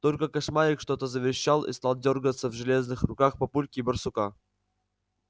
только кошмарик что-то заверещал и стал дёргаться в железных руках папульки и барсука